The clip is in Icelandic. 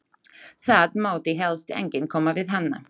Það mátti helst enginn koma við hana.